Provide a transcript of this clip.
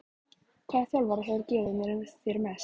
Hvaða þjálfari hefur gefið þér mest?